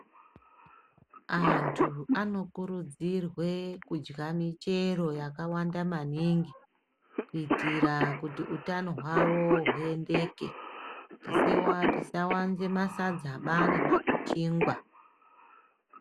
Antu anokurudzirwe kudya michero yakawanda maningi, kuitira kuti utano hwavo huendeke. Tisewa tisawanze masadzaba nemakuchingwa.